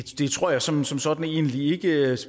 det tror jeg som som sådan egentlig ikke